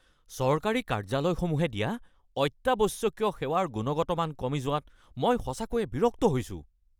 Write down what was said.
চৰকাৰী কাৰ্য্যালয়সমূহে দিয়া অত্যাৱশ্যকীয় সেৱাৰ গুণগত মান কমি যোৱাত মই সঁচাকৈয়ে বিৰক্ত হৈছোঁ।